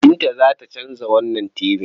Binta za ta canza wannan tibin.